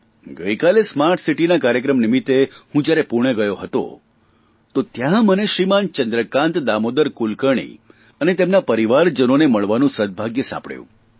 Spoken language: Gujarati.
ગઇકાલે સ્માર્ટસીટીના કાર્યક્રમ નિમિત્તે હું જયારે પૂણે ગયો હતો તો ત્યાં મને શ્રીમાન ચંદ્રકાન્ત દામોદર કુલકર્ણી અને તેમના પરિવારજનોને મળવાનું સદભાગ્ય સાંપડ્યું